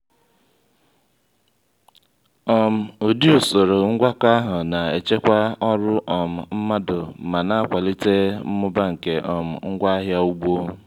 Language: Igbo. um ụdị usoro ngwakọ ahụ na-echekwa ọrụ um mmadụ ma na-akwalite mmụba nke um ngwaahịa ugbo.